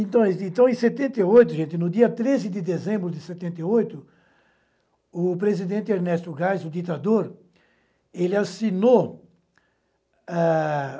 Então então, em setenta e oito, gente, no dia treze de dezembro de setenta e oito, o presidente Ernesto Geis, o ditador, ele assinou ah...